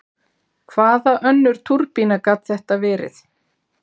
Hvaða önnur túrbína gat þetta verið?